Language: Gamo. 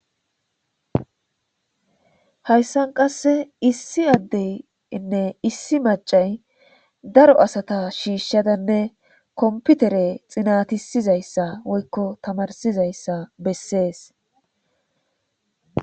hayssan qasse issi addeynne issi macay daro asata shiishshadanne komputere xinatisizayssa woykko tamarsizayssa bessees